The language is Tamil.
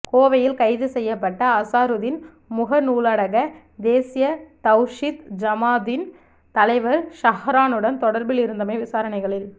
கோவையில் கைது செய்யப்பட்ட அசாருதீன் முகநூலூடாக தேசிய தவ்ஹீத் ஜமாத்தின் தலைவர் சஹ்ரானுடன் தொடர்பில் இருந்தமை விசாரணைகளில்